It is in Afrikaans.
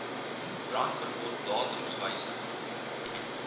brandverbod datums wysig